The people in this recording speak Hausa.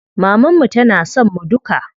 Maman mu tana son mu duka.